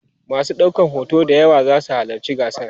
masu ɗaukan hoto d yawa zasu halatci gasar